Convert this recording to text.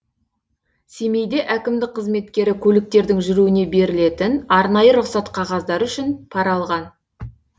семейде әкімдік қызметкері көліктердің жүруіне берілетін арнайы рұқсат қағаздары үшіп пара алған